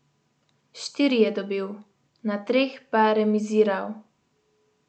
Štiri je dobil, na treh pa remiziral.